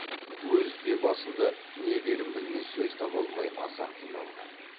өзі де басында не дерін білмей сөз таба алмай аса қиналған